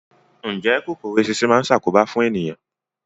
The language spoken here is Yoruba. Ǹjẹ́ kòkòrò eṣinṣin náà ń ṣàkóbá fún ènìyàn?